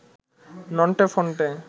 Nonte Phonte